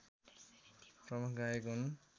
प्रमुख गायक हुन्